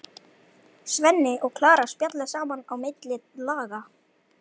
Svenni og Klara spjalla saman á milli laga.